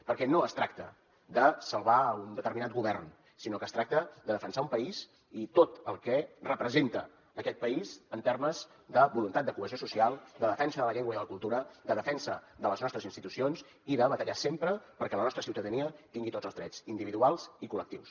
perquè no es tracta de salvar un determinat govern sinó que es tracta de defensar un país i tot el que representa aquest país en termes de voluntat de cohesió social de defensa de la llengua i de la cultura de defensa de les nostres institucions i de batallar sempre perquè la nostra ciutadania tingui tots els drets individuals i col·lectius